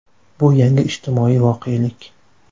Bu yangi ijtimoiy voqelik.